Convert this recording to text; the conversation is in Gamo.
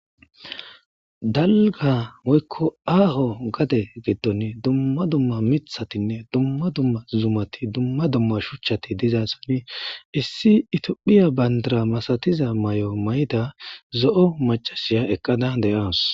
Dalga woykko aaho gade giddon dumma dumma mithatinne dumma dumma zumati dumma dumma shuchchati diza soni issi itiophiya bandara masatiza may7o may'da zo'o macasiya eqqada de'awus.